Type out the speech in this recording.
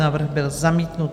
Návrh byl zamítnut.